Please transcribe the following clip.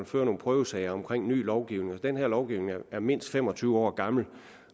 føre nogle prøvesager om ny lovgivning men den her lovgivning er mindst fem og tyve år gammel